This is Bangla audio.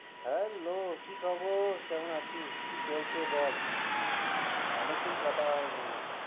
Hello কি খবর কেমন আছিস? কি চলছে বল? অনেকদিন কথা হয়নি।